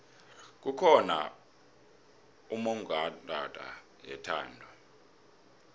kukhona ummongondaba yethando